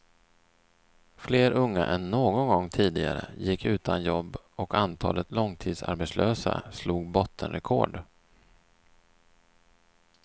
Fler unga än någon gång tidigare gick utan jobb och antalet långtidsarbetslösa slog bottenrekord.